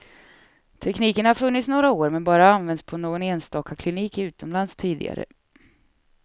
Tekniken har funnits några år men bara använts på någon enstaka klinik utomlands tidigare.